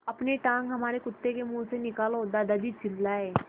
अपनी टाँग हमारे कुत्ते के मुँह से निकालो दादाजी चिल्लाए